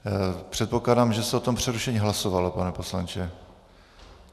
Předpokládám, že se o tom přerušení hlasovalo, pane poslanče.